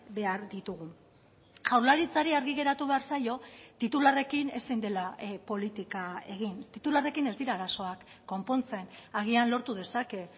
behar ditugu jaurlaritzari argi geratu behar zaio titularrekin ezin dela politika egin titularrekin ez dira arazoak konpontzen agian lortu dezake